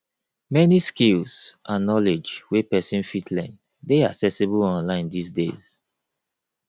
many skills and knowledge wey persin fit learn de accessible online dis days